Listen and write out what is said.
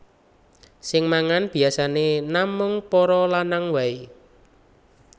Sing mangan biyasané namung para lanang waé